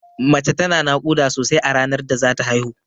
Mace tana naƙuda sosai a ranar da zata haihu.